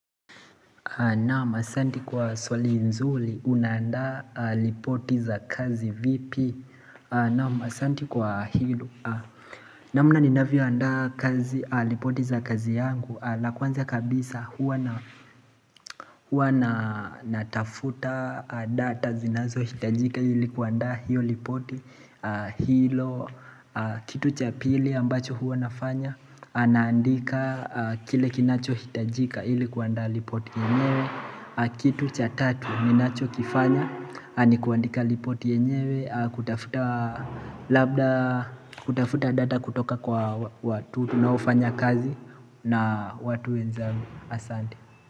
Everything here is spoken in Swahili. Naam asante kwa swali nzuli una anda lipoti za kazi vipi naam asante kwa hilo namna ninavyo anda kazi lipoti za kazi yangu la kwanza kabisa huwa na huwa na natafuta data zinazo hitajika ilikuanda hiyo lipoti Hilo kitu cha pili ambacho huwanafanya na andika kile kinacho hitajika ilikuanda lipoti yenyewe Kitu cha tatu, ninacho kifanya, ni kuandika lipoti yenyewe kutafuta kutafuta data kutoka kwa watu, tunaofanya kazi na watu wenzangu asante.